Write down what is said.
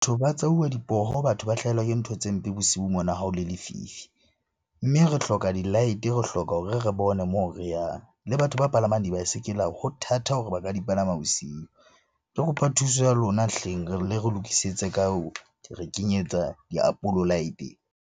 Ba tsauwa dipoho, batho ba hlahelwa ke ntho tse mpe bosiu mona ha o le lefifi. Mme re hloka di-light-e, re hloka hore re bone moo re yang. Le batho ba palamang dibaesekele ho thata hore ba ka di palama bosiu. Re kopa thuso ya lona hleng! le re lokisetse ka hore kenyetsa light-e.